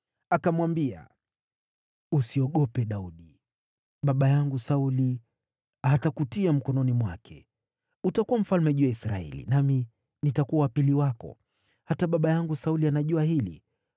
Akamwambia, “Usiogope, Daudi; baba yangu Sauli hatakutia mkononi mwake. Utakuwa mfalme juu ya Israeli, nami nitakuwa wa pili wako. Hata baba yangu Sauli anajua hili.”